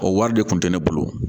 O wari de kun tɛ ne bolo